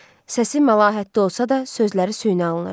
Səsi məlahətli olsa da, sözləri süni alınırdı.